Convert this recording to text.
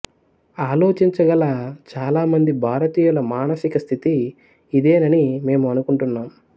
ఆలోచించగల చాలామంది భారతీయుల మానసిక స్థితి ఇదేనని మేము అనుకుంటున్నాం